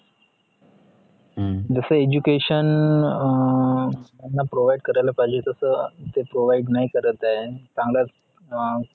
जस education अं त्यांना provide करायला पाहिजे तस ते provide नाही करत आहे चांगल्या अं